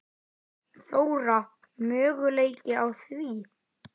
Þóra: Möguleiki á því?